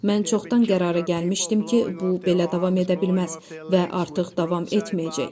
Mən çoxdan qərara gəlmişdim ki, bu belə davam edə bilməz və artıq davam etməyəcək.